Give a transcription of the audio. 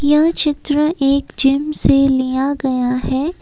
यह चित्र एक जिम से लिया गया है।